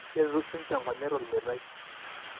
keretu sininye inkonyek tolmeitai.